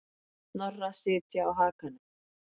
Snorra sitja á hakanum.